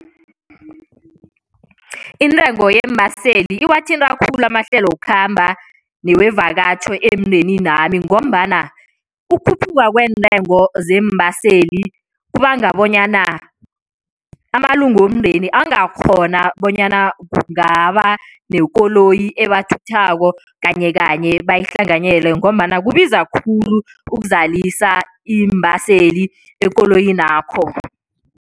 Intengo yeembaseli iwathinta khulu amahlelo wokukhamba newevakatjho emndeninami ngombana ukukhuphuka kweentengo zeembaseli kubanga bonyana amalunga womndeni angakghona bonyana kungaba nekoloyi ebathathako kanyekanye bayihlanganyele ngombana kubiza khulu ukuzalisa iimbaseli ekoloyinakho.